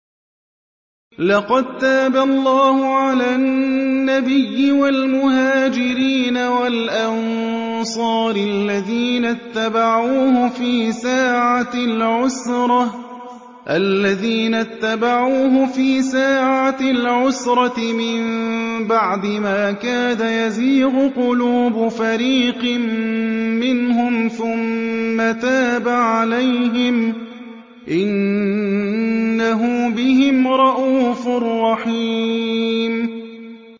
لَّقَد تَّابَ اللَّهُ عَلَى النَّبِيِّ وَالْمُهَاجِرِينَ وَالْأَنصَارِ الَّذِينَ اتَّبَعُوهُ فِي سَاعَةِ الْعُسْرَةِ مِن بَعْدِ مَا كَادَ يَزِيغُ قُلُوبُ فَرِيقٍ مِّنْهُمْ ثُمَّ تَابَ عَلَيْهِمْ ۚ إِنَّهُ بِهِمْ رَءُوفٌ رَّحِيمٌ